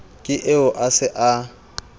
ke eo a se a